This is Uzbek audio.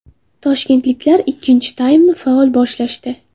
Toshkentliklar ikkinchi taymni faol boshlashdi.